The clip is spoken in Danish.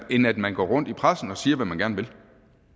end at man går rundt i pressen og siger hvad man gerne